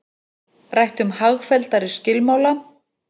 Rætt um hagfelldari skilmála